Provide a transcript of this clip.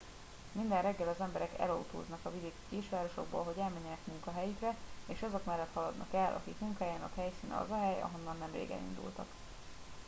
minden reggel az emberek elautóznak a vidéki kisvárosokból hogy elmenjenek munkahelyükre és azok mellett haladnak el akik munkájának helyszíne az a hely ahonnan nemrég elindultak